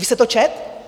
Vy jste to četl?